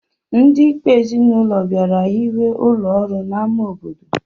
Ndị Ikpe ezinụlọ bịara hiwe ụlọọrụ n'ámá obodo